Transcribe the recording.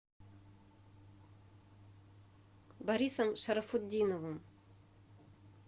борисом шарафутдиновым